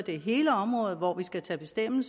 hele området hvor vi skal tage en